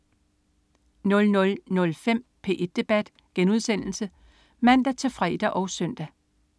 00.05 P1 debat* (man-fre og søn)